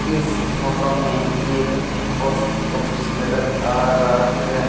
इस फोटो में एक पोस्ट ऑफिस नजर आ रहा है